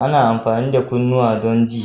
Ana amfani da kunnuwa don ji